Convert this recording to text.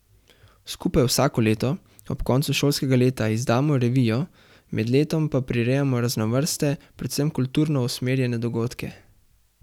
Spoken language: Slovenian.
Skupaj vsako leto, ob koncu šolskega leta, izdamo revijo, med letom pa prirejamo raznovrstne, predvsem kulturno usmerjene dogodke.